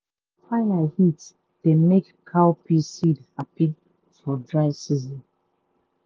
fire heat dey make cowpea seed happy for dry season.